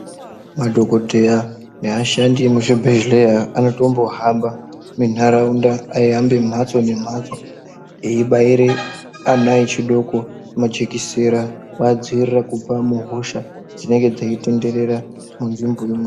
Madhogodheya neashandi emuzvibhedhlera anotombohamba minharaunda, eihamba mhatso nemhatso eibaire ana echidoko majikisera kuadziirira muhosha dzinenge dzeitenderera munzvimbo imwomwo.